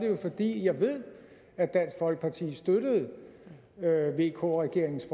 jo fordi jeg ved at dansk folkeparti støttede vk regeringens